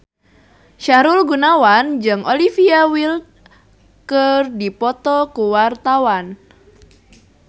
Sahrul Gunawan jeung Olivia Wilde keur dipoto ku wartawan